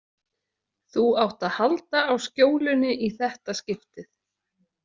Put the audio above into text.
Þú átt að halda á skjólunni í þetta skiptið